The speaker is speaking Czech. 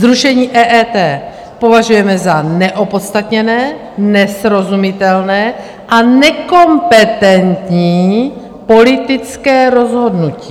Zrušení EET považujeme za neopodstatněné, nesrozumitelné a nekompetentní politické rozhodnutí.